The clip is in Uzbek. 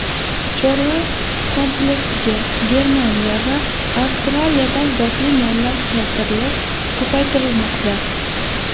Chorva kompleksiga Germaniya va Avstriyadan zotli mollar keltirilib, ko‘paytirilmoqda.